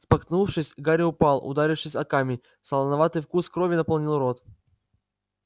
споткнувшись гарри упал ударившись о камень солоноватый вкус крови наполнил рот